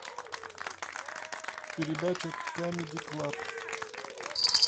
передача камеди клаб